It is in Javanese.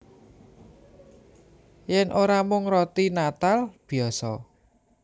Yèn ora mung roti natal biyasa